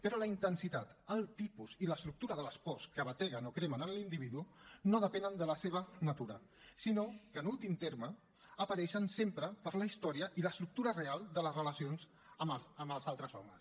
però la intensitat el tipus i l’estructura de les pors que bateguen o cremen en l’individu no depenen de la seva natura sinó que en últim terme apareixen sempre per la història i l’estructura real de les relacions amb els altres homes